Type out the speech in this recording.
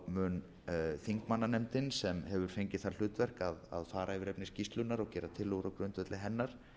mun þingmannanefndin sem hefur fengið það hlutverk að fara yfir efni skýrslunnar og gera tillögur á grundvelli hennar